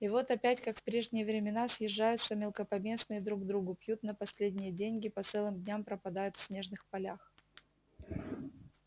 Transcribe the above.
и вот опять как в прежние времена съезжаются мелкопоместные друг к другу пьют на последние деньги по целым дням пропадают в снежных полях